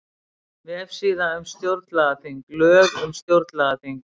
Vefsíða um stjórnlagaþing Lög um stjórnlagaþing